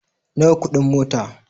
Nawa kudin mota?